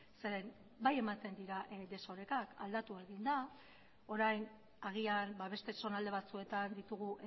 zeren bai ematen dira desorekak aldatu egin da orain agian beste zonalde batzuetan ditugu